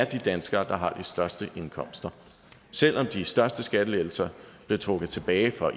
de danskere der har de største indkomster selv om de største skattelettelser blev trukket tilbage for